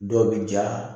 Dɔ bi ja